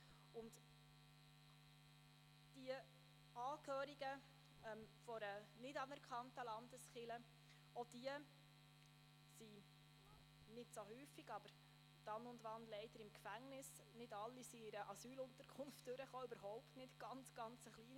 Auch Angehörige einer nicht anerkannten Landeskirche sind – zwar nicht so oft, aber dann und wann – leider auch im Gefängnis.